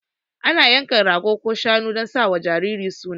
Ana yanka rago ko shanu dan sa wa jariri suna